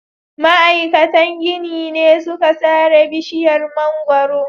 Ma'aikatan ginin ne suka sare bishiyar mangwaro.